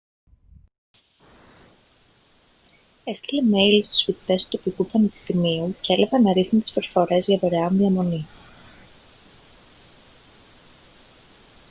έστειλε μέιλ στους φοιτητές του τοπικού πανεπιστημίου και έλαβε αναρίθμητες προσφορές για δωρεάν διαμονή